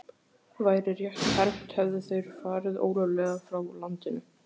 Væri rétt hermt, hefðu þeir farið ólöglega frá landinu.